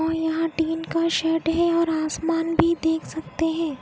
और यहाँ टिन का शेड है और आसमान भी देख सकते हैं।